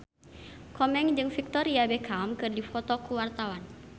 Komeng jeung Victoria Beckham keur dipoto ku wartawan